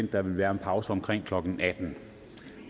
at der vil være en pause omkring klokken attende